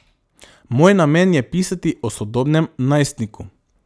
Moj namen je pisati o sodobnem najstniku.